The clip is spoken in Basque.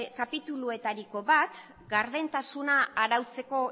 kapituluetariko bat gardentasuna arautzeko